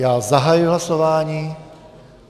Já zahajuji hlasování.